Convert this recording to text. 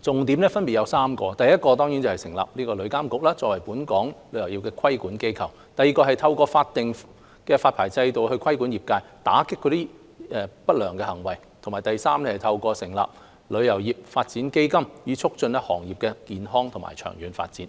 重點，分別是 ：1 成立旅監局，作為本港旅遊業的規管機構 ；2 透過法定發牌制度規管業界，打擊不良行為；及3透過成立旅遊業發展基金，促進行業健康和長遠發展。